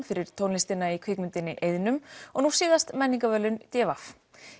fyrir tónlistina í kvikmyndinni og nú síðast menningarverðlaun d v